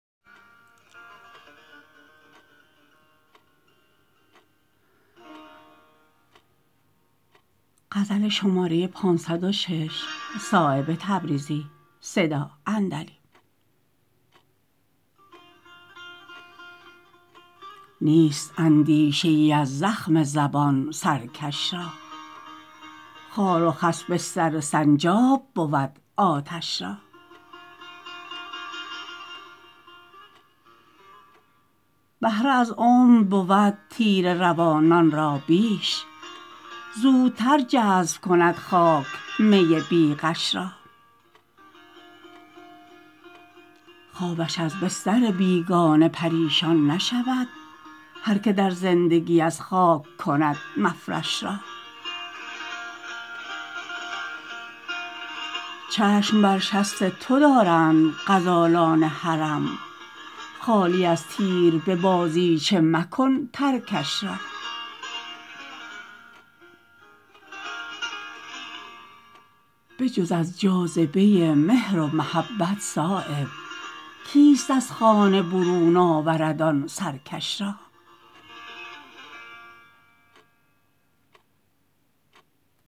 نیست اندیشه ای از زخم زبان سرکش را خار و خس بستر سنجاب بود آتش را بهره از عمر بود تیره روانان را بیش زودتر جذب کند خاک می بی غش را خوابش از بستر بیگانه پریشان نشود هر که در زندگی از خاک کند مفرش را چشم بر شست تو دارند غزالان حرم خالی از تیر به بازیچه مکن ترکش را به جز از جاذبه مهر و محبت صایب کیست از خانه برون آورد آن سرکش را